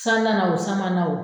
San nana o san ma na o